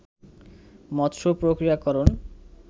মৎস্য প্রক্রিয়াকরণ